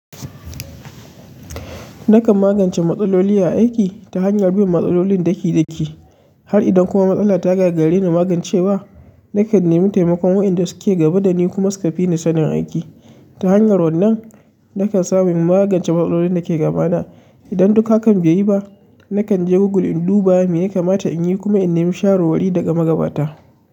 Nakan magance matsaloli a aiki ta hanyar bin matsalolin ɗaki ɗaki. Har idan kuma matsala ta gagarreni magancewa, nakan nemi taimakon wa'yanda suke gaba da ni kuma suka fi ni sanin aiki. Ta hanyar wannan, nakan samu in magance matsalolin da ke gabana. Idan duk hakan bai yi ba, nakan je Google in duba me ya kamata in yi kuma in nemi shawarwari daga magabata.